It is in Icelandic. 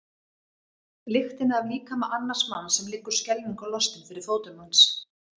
Lyktina af líkama annars manns sem liggur skelfingu lostinn fyrir fótum manns.